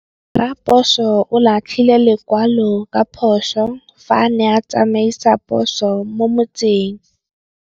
Raposo o latlhie lekwalô ka phosô fa a ne a tsamaisa poso mo motseng.